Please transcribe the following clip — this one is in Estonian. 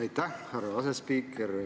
Aitäh, härra asespiiker!